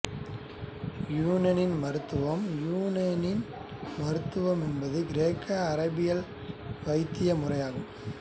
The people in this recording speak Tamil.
இயூனானி மருத்துவம் இயுனானி மருத்துவம் என்பது கிரேக்கஅராபிய வைத்திய முறையாகும்